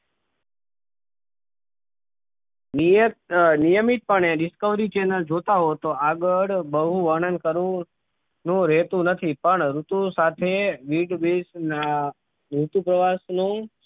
નિયત નિયમિતપણે discovey channel જોતાં હો તો આગળ બહુ વર્ણન કરવું નું રહેતુ નથી પણ ઋતુ સાથે વિગવેશના ઋતુ પ્રવાસ નું